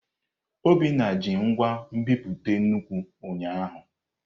Obinna ji ngwa nbipute nnukwu ụnyahụ.